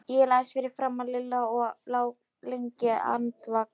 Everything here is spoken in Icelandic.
Ég lagðist fyrir framan Lilla og lá lengi andvaka.